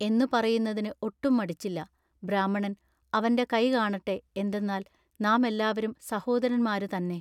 എന്നു പറയുന്നതിന് ഒട്ടും മടിച്ചില്ല. ബ്രാഹ്മണൻ അവന്റെ കൈ കാണട്ടെ എന്തെന്നാൽ നാമെല്ലാവരും സഹോദരന്മാരു തന്നെ.